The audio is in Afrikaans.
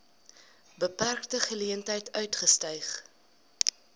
beperkte geleenthede uitgestyg